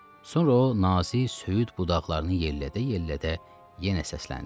Sonra o, nazik söyüd budaqlarını yellədə-yellədə yenə səsləndi.